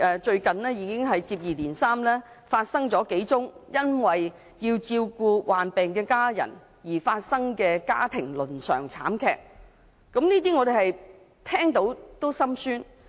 最近接二連三發生了數宗與照顧患病家人相關的家庭倫常慘劇，聞者心酸。